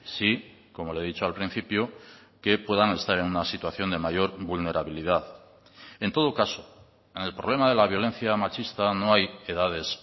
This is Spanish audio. sí como le he dicho al principio que puedan estar en una situación de mayor vulnerabilidad en todo caso en el problema de la violencia machista no hay edades